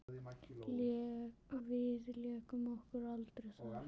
Við lékum okkur aldrei þar.